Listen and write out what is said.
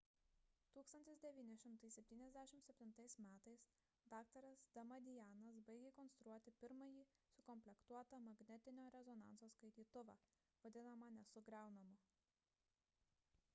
1977 m dr damadianas baigė konstruoti pirmąjį sukomplektuotą magnetinio rezonanso skaitytuvą vadinamą nesugriaunamu